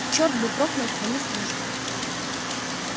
черт бы проклял твою службу